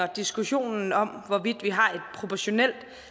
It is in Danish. diskussionen om hvorvidt vi har et proportionelt